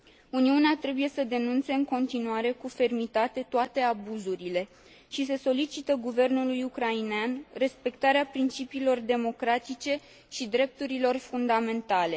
Uniunea trebuie să denunțe în continuare cu fermitate toate abuzurile și să solicite guvernului ucrainean respectarea principiilor democratice și a drepturilor fundamentale.